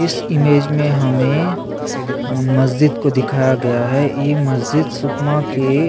इस इमेज में हमें मस्जिद को दिखाया गया है यह मस्जिद सुकमा के --